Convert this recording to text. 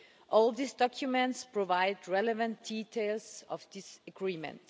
All these documents provide relevant details of this agreement.